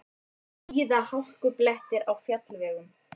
Víða hálkublettir á fjallvegum